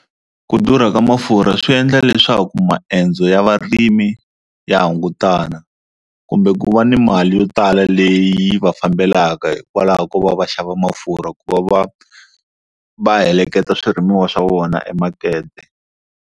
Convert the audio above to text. Ku durha ka mafurha swi endla leswaku maendzo ya varimi ya hungutana kumbe ku va ni mali yo tala leyi va fambelaka hikwalaho ko va va xava mafurha ku va va va heleketa swirimiwa swa vona emakete.